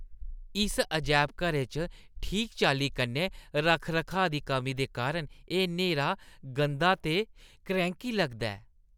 इस अजैबघरै च ठीक चाल्ली कन्नै रक्ख-रखाऽ दी कमी दे कारण एह् न्हेरा, गंदा ते क्रैंह्‌की लगदा ऐ।